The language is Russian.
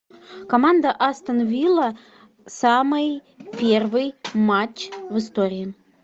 команда астон вилла самый первый матч в истории